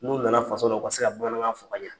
N'u nana faso la, u ka se ka bamanankan fɔ ka ɲɛ.